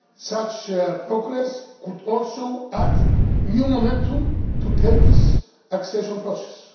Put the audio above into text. Such progress could also add new momentum to Turkey's accession process.